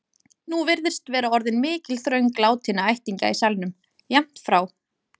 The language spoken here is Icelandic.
Nú virðist vera orðin mikil þröng látinna ættingja í salnum, jafnt frá